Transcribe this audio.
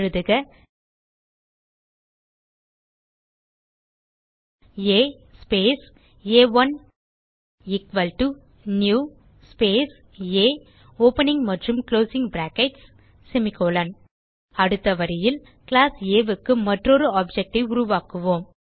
எழுதுக ஆ ஸ்பேஸ் ஆ1 எக்குவல் டோ நியூ ஸ்பேஸ் ஆ ஓப்பனிங் மற்றும் குளோசிங் பிராக்கெட்ஸ் செமிகோலன் அடுத்த வரியில் கிளாஸ் Aக்கு மற்றொரு ஆப்ஜெக்ட் ஐ உருவாக்குவோம்